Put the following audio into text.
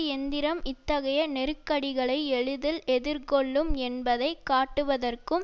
எந்திரம் இத்தகைய நெருக்கடிகளை எளிதில் எதிர்கொள்ளும் என்பதை காட்டுவதற்கும்